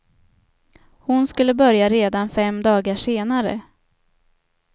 Hon skulle börja redan fem dagar senare.